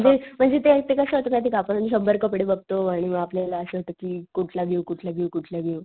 म्हणजे म्हणजे ते कस होत माहितेय का आपण शंभर कपडे बघतो आणि मग आपल्याला असं होत कि कुठला घेऊ कुठला घेऊ कुठला घेऊ.